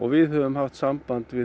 við höfum haft samband við